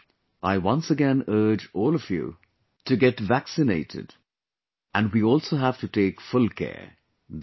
With this wish, I once again urge all of you to get vaccinated and we also have to take full care